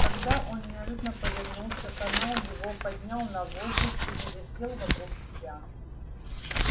тогда он неожиданно повернулся поймал его поднял на воздух и завертел вокруг себя